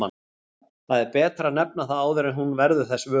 Það er betra að nefna það áður en hún verður þess vör.